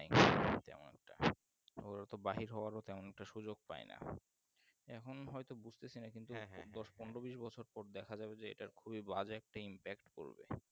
ওরাতো বাহির হবারও তেমন একটা সুযোগ পাইনা এখন হয়তো বুজতেছিনা কিন্তু দশ পনেরো বিষ বছর পর দেখা যাবে যে এটার খুবই বাজে একটা Inpact পরবে